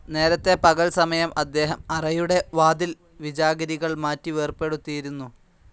നേരത്തെ, പകൽസമയം അദ്ദേഹം അറയുടെ വാതിൽ വിജാഗിരികൾ മാറ്റി വേർപെടുത്തിയിരുന്നു.